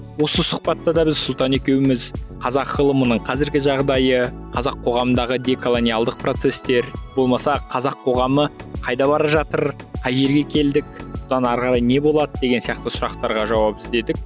осы сұхбатта да біз сұлтан екеуміз қазақ ғылымының қазіргі жағдайы қазақ қоғамындағы деколониялдық процестер болмаса қазақ қоғамы қайда бара жатыр қай жерге келдік бұдан ары қарай не болады деген сияқты сұрақтарға жауап іздедік